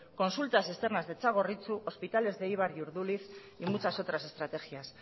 consultas externas de txagorritxu hospitales de eibar y urduliz y muchas otras estrategias